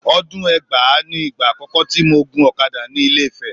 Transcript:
Ọdún ẹgbàá ni ìgbà àkọ́kọ́ tí mo gun ọ̀kadà ni Ilé-Ifẹ̀